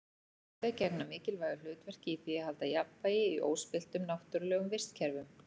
Þau gegna mikilvægu hlutverki í því að halda jafnvægi í óspilltum náttúrlegum vistkerfum.